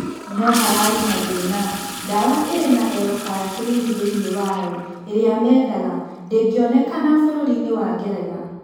No hararĩ na thĩna: Ndawa ĩrina L-Carnitine thĩiniĩ wayo ĩrĩa mendaga ndĩngĩonekana bũrũriinĩ wa Ngeretha.